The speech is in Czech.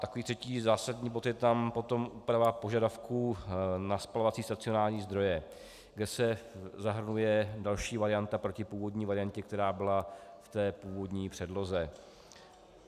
Jako třetí zásadní bod je tam potom úprava požadavků na spalovací stacionární zdroje, kde se zahrnuje další varianta proti původní variantě, která byla v té původní předloze.